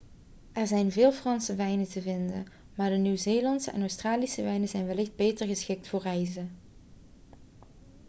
er zijn veel franse wijnen te vinden maar de nieuw-zeelandse en australische wijnen zijn wellicht beter geschikt voor reizen